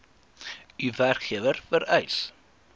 u werkgewer vereis